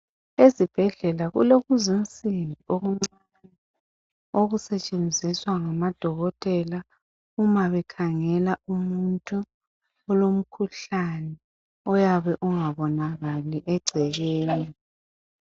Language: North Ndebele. Ezibhedlela kulensimbi ezincane ezisetshenziswa ngamadokotela uma bekhangela umuntu olomkhuhlane oyabe ungabonakali egcekeni